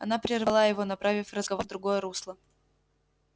она прервала его направив разговор в другое русло